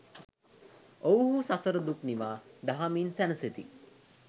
ඔවුහු සසර දුක් නිවා දහමින් සැනසෙති.